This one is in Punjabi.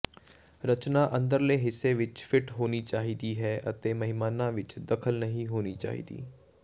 ਰਚਨਾ ਅੰਦਰਲੇ ਹਿੱਸੇ ਵਿੱਚ ਫਿੱਟ ਹੋਣੀ ਚਾਹੀਦੀ ਹੈ ਅਤੇ ਮਹਿਮਾਨਾਂ ਵਿੱਚ ਦਖਲ ਨਹੀਂ ਹੋਣੀ ਚਾਹੀਦੀ